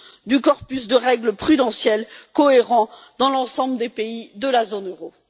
du corpus de règles prudentielles cohérent dans l'ensemble des pays de la zone euro.